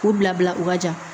K'u bila bila u ka ja